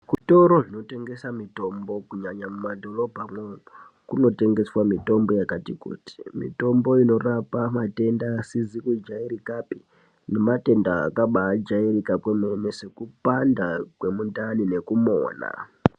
Zvitoro zvinotengesa mitombo kunyanya mumadhorobhamwo kunotengeswa mitombo yakati kuti mitombo inorapa matenda asizi kujairikapi nematenda akabajairika kwemene sekupanda kwemundani nekumona.